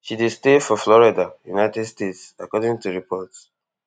she dey stay for florida united states according to reports